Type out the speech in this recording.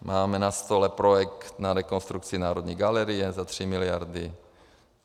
Máme na stole projekt na rekonstrukci Národní galerie za 3 miliardy.